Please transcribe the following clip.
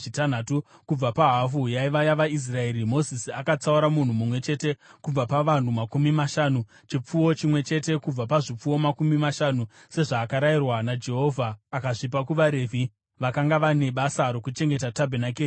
Kubva pahafu yaiva yavaIsraeri, Mozisi akatsaura munhu mumwe chete kubva pavanhu makumi mashanu, chipfuwo chimwe chete kubva pazvipfuwo makumi mashanu, sezvakarayirwa naJehovha, akazvipa kuvaRevhi, vakanga vane basa rokuchengeta tabhenakeri yaJehovha.